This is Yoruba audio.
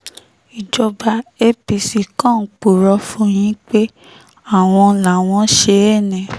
ìjọba apc kan ń purọ́ fún yín pé àwọn làwọn ṣe é ni